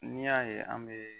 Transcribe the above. N'i y'a ye an bɛ